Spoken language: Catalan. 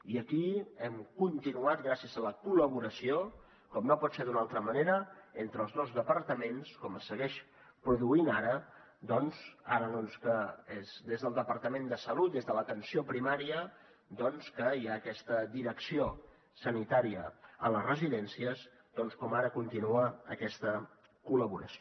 i aquí hem continuat gràcies a la col·laboració com no pot ser d’una altra manera entre els dos departaments com es segueix produint ara doncs que és des del departament de salut des de l’atenció primària que hi ha aquesta direcció sanitària a les residències com ara continua aquesta col·laboració